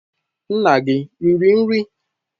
Nna gi riri nri?